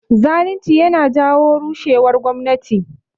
Zalinci yana janyo rushewar gwamnati